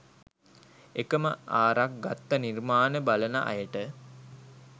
එකම ආරක් ගත්ත නිර්මාණ බලන අයට